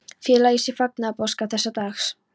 Fela í sér fagnaðarboðskap þessa dags.